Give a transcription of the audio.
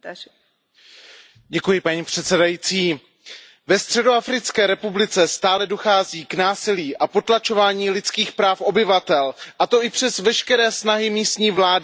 Ve Středoafrické republice stále dochází k násilí a potlačování lidských práv obyvatel, a to i přes veškeré snahy místní vlády a mezinárodní vojenské mise MINUSCA.